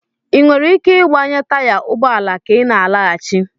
Ị nwere ike ịgbanye taya ụgbọ ala ka ị na-alaghachi?